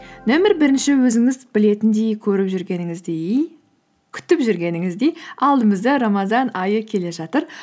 нөмір бірінші өзіңіз білетіңдей көріп жүргеніңіздей күтіп жүргеніңіздей алдымызда рамазан айы келе жатыр